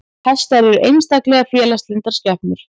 Hestar eru einstaklega félagslyndar skepnur.